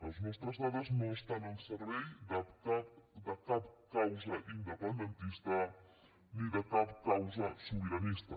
les nostres dades no estan al servei de cap causa independentista ni de cap causa sobiranista